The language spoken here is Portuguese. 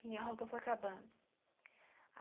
Minha roupa foi acabando.